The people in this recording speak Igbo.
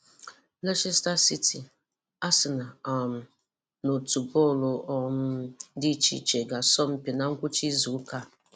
Leicester City, Arsenal um na otu bọọlụ um dị icheíche gà-asọ́ mpi na ngwụ̀chá ízùụ̀ka a.